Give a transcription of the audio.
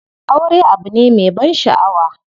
Aure abu ne me ban shaʼawa.